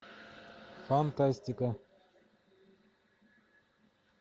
фантастика